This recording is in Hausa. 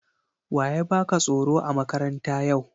Wa ya baka tsoro a makaranta yau?